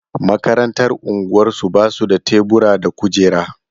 Makarantar unguwarsu ba su da tebura da kujera.